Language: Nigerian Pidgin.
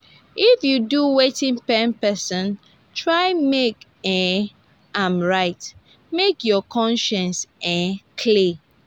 if yu do wetin pain pesin try mek um am right mek yur conscience um clear.